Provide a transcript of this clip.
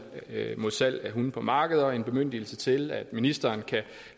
mod salg af hunde på markeder og en bemyndigelse til at ministeren kan